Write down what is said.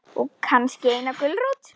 Og kannski eina gulrót.